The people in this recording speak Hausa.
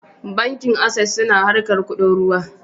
Bankin Ases suna harkar kuɗin ruwa